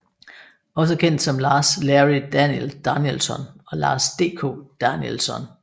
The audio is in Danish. Også kendt som Lars Larry Danielsson og Lars DK Danielsson